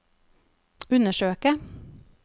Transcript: undersøke